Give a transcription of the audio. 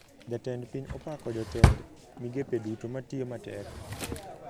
Jatend piny opako jotend migepe duto matiyo matek